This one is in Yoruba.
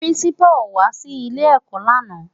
Pirinsipá ó wá si ilé èkò làná